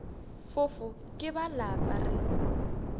fofo ke ba lapa re